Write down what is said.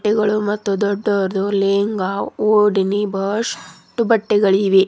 ಗಳು ಮತ್ತು ದೊಡ್ಡವರದು ಲೆಂಗಾ ಓಡಿನಿ ಬಹಸ್ಟು ಬಟ್ಟೆಗಳಿವೆ.